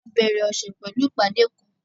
A bẹ̀rẹ̀ ọṣẹ̀ pẹ̀lú ìpadé kán